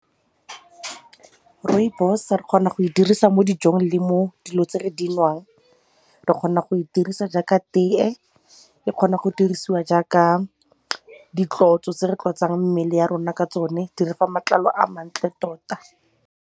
Rooibos re kgona go e dirisa mo dijong le mo dilong tse re di nwang. Re kgona go e dirisa jaaka tee, e kgona go dirisiwa jaaka ditlotso tse re tlotsang mmele ya rona ka tsone, di re fa matlalo a mantle tota.